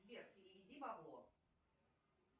сбер переведи бабло